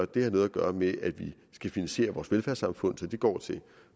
det har noget at gøre med at vi skal finansiere vores velfærdssamfund så det går til